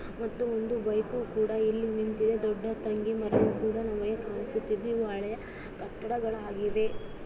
ಮತ್ತು ಒಂದು ಬೈಕ್ ಕೂಡ ಇಲ್ಲಿ ನಿಂತಿದೆ. ]